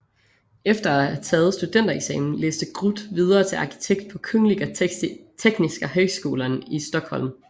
Efter at have taget studentereksamen læste Grut videre til arkitekt på Kungliga Tekniska Högskolan i Stockholm